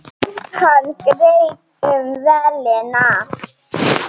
Hann greip um vélina.